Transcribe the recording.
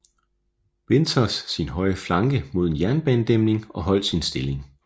Winters sin højre flanke mod en jernbanedæmning og holdt sin stilling